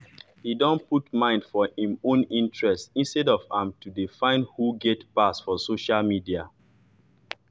he don put mind for im own interest instead of am to de find who get pass for social media